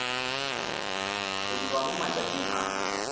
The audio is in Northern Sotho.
go dirwa mo matšatšing a